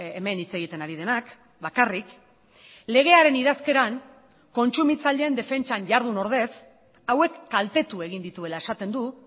hemen hitz egiten ari denak bakarrik legearen idazkeran kontsumitzaileen defentsan jardun ordez hauek kaltetu egin dituela esaten du